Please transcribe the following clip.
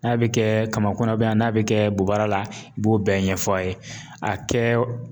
N'a bi kɛ kamakun na n'a bi bobara la, i b'o bɛɛ ɲɛf'a ye, a kɛ